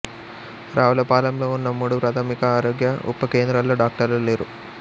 రావులపాలెంలో ఉన్న మూడు ప్రాథమిక ఆరోగ్య ఉప కేంద్రాల్లో డాక్టర్లు లేరు